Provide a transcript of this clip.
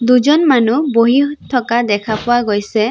দুজন মানুহ বহি থকা দেখা পোৱা গৈছে।